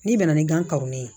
N'i bɛna ni gan karonnen ye